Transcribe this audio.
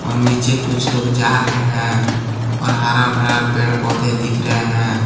और नीचे कुछ लोग जा रहे हैं और हर भरा पेड़ पौधे दिख रहे है।